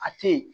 A tɛ yen